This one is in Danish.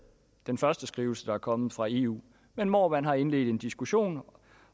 den første skrivelse der er kommet fra eu men hvor man har indledt en diskussion